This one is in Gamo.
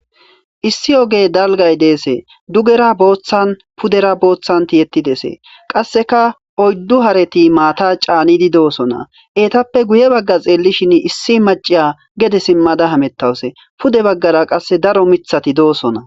issi oge dalgay deese dugera booththan pudera booththanti yettidesee qasseka oyddu hareti maata caanidi doosona eetappe guye bagga xeellishin issi maciya gede simmada hamettawuse pude baggara qasse daro mithati doosona